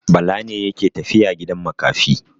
Bala ne yake tafiya gidan makafi.